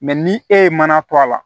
ni e ye mana to a la